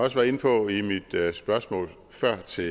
også var inde på i mit spørgsmål før til